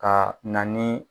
Ka na ni